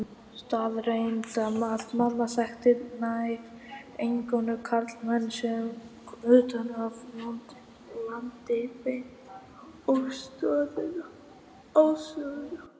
Staðreynd að mamma þekkti nær eingöngu karlmenn, komin utan af landi beint á stöðina.